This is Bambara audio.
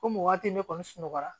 Komi waati ne kɔni sunɔgɔra